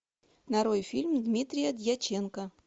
нарой фильм дмитрия дьяченко